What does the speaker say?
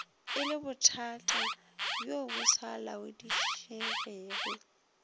e lebothatabjo bo sa laodišegego